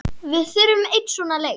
Við þurfum einn svona leik.